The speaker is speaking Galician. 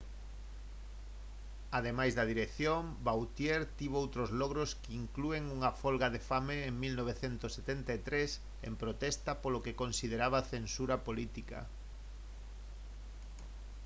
ademais da dirección vautier tivo outros logros que inclúen unha folga de fame en 1973 en protesta polo que consideraba censura política